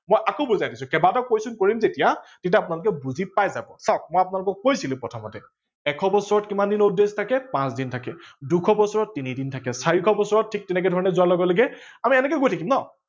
মই আকৌ বুজাই দিছো কেইবাটাও question কৰিম যেতিয়া তেতিয়া আপোনালোকে বুজি পাই যাব ।চাৱক মই আপোনালোকক কৈছিলো প্ৰথমতেই এশ বছৰত কিমান দিন odd days থাকে পাচ দিন থাকে, দুশ বছৰত তিনি দিন থাকে, চাৰিশ বছৰত ঠিক তেনেকে ধৰনে যোৱাৰ লগে লগে আমি এনেকে গৈ থাকিম ন।